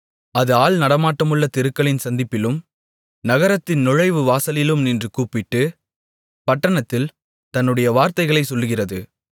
அது ஆள் நடமாட்டமுள்ள தெருக்களின் சந்திப்பிலும் நகரத்தின் நுழைவு வாசலிலும் நின்று கூப்பிட்டு பட்டணத்தில் தன்னுடைய வார்த்தைகளைச் சொல்லுகிறது